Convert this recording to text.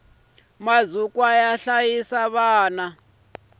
mazukwa yo hlayisa vana